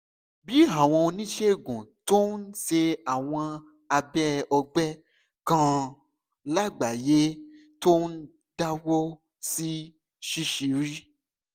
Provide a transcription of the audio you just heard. bí àwọn oníṣègùn tó ń ṣe àwọn abẹ́ ọ̀gbẹ́ kan lágbàáyé tó ń dáwọ́ sí ṣíṣírí